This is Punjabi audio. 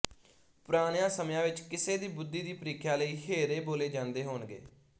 ਪੁਰਾਣਿਆਂ ਸਮਿਆਂ ਵਿੱਚ ਕਿਸੇ ਦੀ ਬੁੱਧੀ ਦੀ ਪ੍ਰੀਖਿਆ ਲਈ ਹੇਅਰੇ ਬੋਲੇ ਜਾਂਦੇ ਹੋਣਗੇ